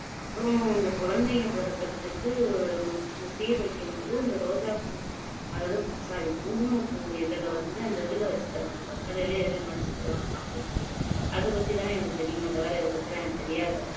அப்பறம் அந்த குழந்தைங்க பொறக்குறதுக்கு ஒரு சீர் வைக்கும்போது ரோஜாப்பூ அதாவது sorry குங்குமப்பூ இதழை வந்து அந்த இதுல வச்சு தருவாங்க வெத்தலைலையோ எதுலையோ மடிச்சு தருவாங்க சாப்பிடறதுக்கு அதுபத்திதான் எனக்கு தெரியுமே தவிர இதைப்பத்தி எல்லாம் எனக்கு தெரியாது